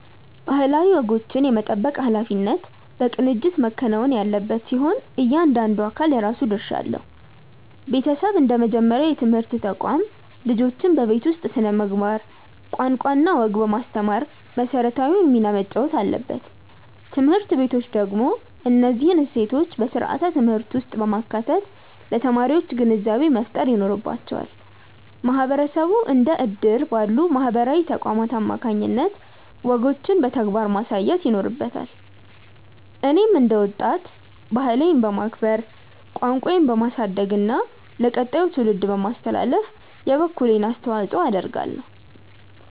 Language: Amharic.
ባህላዊ ወጎችን የመጠበቅ ኃላፊነት በቅንጅት መከናወን ያለበት ሲሆን፣ እያንዳንዱ አካል የራሱ ድርሻ አለው። ቤተሰብ እንደ መጀመሪያው የትምህርት ተቋም፣ ልጆችን በቤት ውስጥ ስነ-ምግባር፣ ቋንቋና ወግ በማስተማር መሰረታዊውን ሚና መጫወት አለበት። ትምህርት ቤቶች ደግሞ እነዚህን እሴቶች በስርዓተ-ትምህርት ውስጥ በማካተት ለተማሪዎች ግንዛቤ መፍጠር ይኖርባቸዋል። ማህበረሰቡ እንደ እድር ባሉ ማህበራዊ ተቋማት አማካኝነት ወጎችን በተግባር ማሳየት ይኖርበታል። እኔም እንደ ወጣት፣ ባህሌን በማክበር፣ ቋንቋዬን በማሳደግና ለቀጣዩ ትውልድ በማስተላለፍ የበኩሌን አስተዋጽኦ አደርጋለሁ።